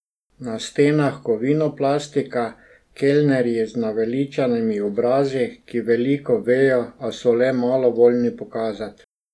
Na stenah kovinoplastika, kelnerji z naveličanimi obrazi, ki veliko vejo, a so le malo voljni pokazat.